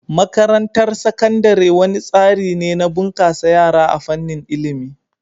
Makarantar Sakandare wani tsari ne na bunkasa yara a fannin ilimi.